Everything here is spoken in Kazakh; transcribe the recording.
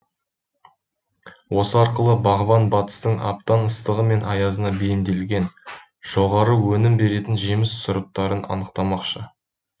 осы арқылы бағбан батыстың аптан ыстығы мен аязына бейімделген жоғары өнім беретін жеміс сұрыптарын анықтамақшы